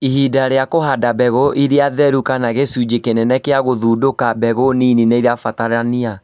Ihinda rĩa kũhanda mbegũ ĩrĩa theru kana gĩcunjĩ kĩnene gĩa gũthundũka, mbegũ nini nĩrabatarania